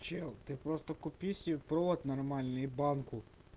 чел ты просто купи себе провод нормальный и банку